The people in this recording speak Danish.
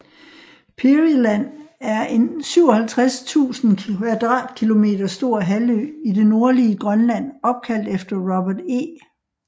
Peary Land er en 57 000 km² stor halvø i det nordlige Grønland opkaldt efter Robert E